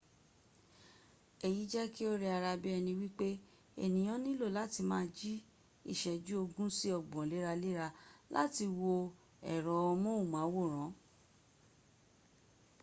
eyi je ki o re ara bi eni wipe eniyan nilo lati ma ji iseju ogun si ogbon lera-lera lati wo ero mohunmaworan